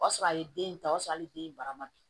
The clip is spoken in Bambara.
O y'a sɔrɔ a ye den ta o y'a sɔrɔ hali den barama bin